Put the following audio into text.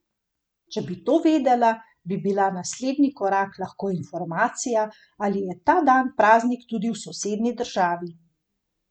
Če bi to vedela, bi bila naslednji korak lahko informacija, ali je ta dan praznik tudi v sosednji državi.